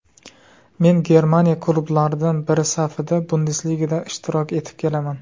Men Germaniya klublaridan biri safida Bundesligada ishtirok etib kelaman.